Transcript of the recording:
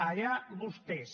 allà vostès